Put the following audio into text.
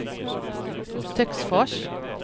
Töcksfors